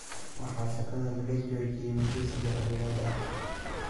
Waxa shaqada laga joojiyay muddo saddex bilood ah.